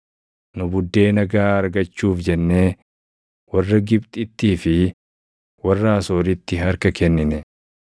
Nu buddeena gaʼaa argachuuf jennee warra Gibxittii fi warra Asooritti harka kennine;